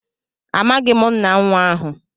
Amaghim nna nwa ahu.